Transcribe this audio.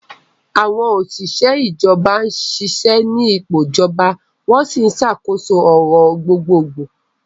Àwọn òṣìṣẹ́ ìjọba ń ṣiṣẹ́ ní ipò ìjọba, wọ́n sì ń ṣàkóso ọ̀rọ̀ gbogbogbò.